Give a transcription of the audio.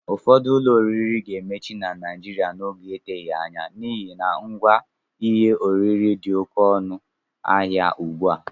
Ụfọdụ ụlọ oriri ga-emechi na Naijiriia n'oge n'eteghi anya n'ihi na ngwá ihe oriri dị oké ọnụ ahịa ugbua